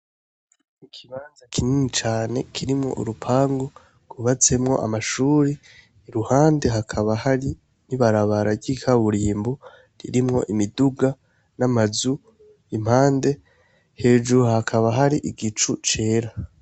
Ikibanza kinini cane kirimwo urupangu rwubatsemwo amashure iruhande hakaba hari ibarabara ry'ikaburimbo ririmwo imiduga n'amazu impande, hejuru hakaba hari igicu cera.